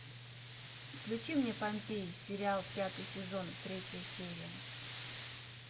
включи мне помпеи сериал пятый сезон третья серия